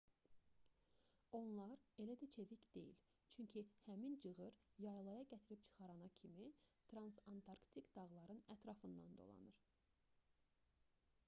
onlar elə də çevik deyil çünki həmin çığır yaylaya gətirib çıxarana kimi transantarktik dağların ətrafından dolanır